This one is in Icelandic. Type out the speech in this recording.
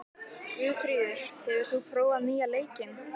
Guðfríður, hefur þú prófað nýja leikinn?